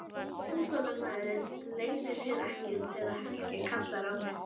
Óþolinmæðin leynir sér ekki þegar Helgi kallar á mig.